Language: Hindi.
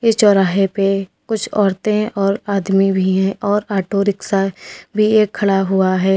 इस चौराहे पर कुछ औरतें और आदमी भी हैं और ऑटो रिक्शा भी एक खड़ा हुआ है।